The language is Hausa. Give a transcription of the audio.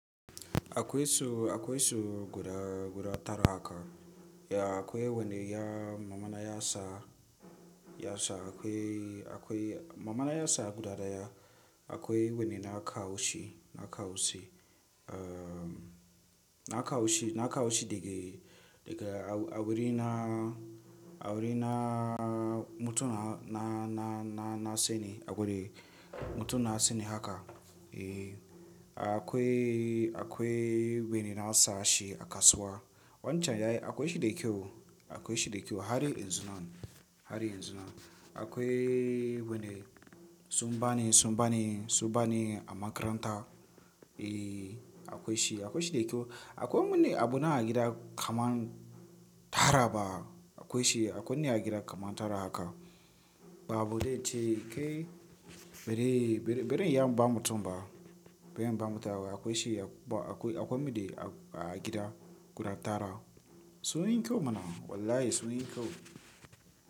Akwai su, akwai su guda, guda tara haka. Ya akwai wani ya, mama na ya sa, ya sa akwai, akwai, mama na ya sa guda daya. Akwai wani na kawo shi, na kawo shi, uhm, na kawo shi, na kawo shi daga, daga awuri na, awuri na, mutum na, na, na, na, na sani, awuri mutum na sani haka. Eeh, akwai, akwai wai na sa shi a kasuwa. Wancan yayi, akwai shi da kyau, akwai shi da kyau har yanzu nan, har yanzu nan. Akwai wani sun ba ni, sun ba ni, sun ba ni a makaranta. Eeh, akwai shi, akwai shi da kyau. Akwai wani abu na a gida kaman tara ba. Akwai shi, akwai wani a gida kaman tara haka. Ya ba zai ce kai, bazan iya in ba mutum ba bari ya bi mutum ba. Akwai shi akwai, akwai, akwai me da agida guda tara. Sunyi kyau mana wallahi sunyi kyau.